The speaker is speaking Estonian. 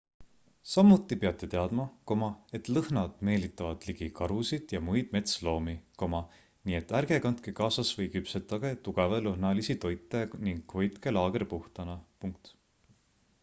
samuti peate teadma et lõhnad meelitavad ligi karusid ja muid metsloomi nii et ärge kandke kaasas või küpsetage tugevalõhnalisi toite ning hoidke laager puhtana